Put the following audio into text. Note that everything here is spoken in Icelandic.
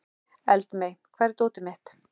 Eldmey, hvar er dótið mitt?